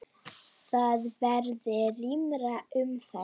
Þar verði rýmra um þær.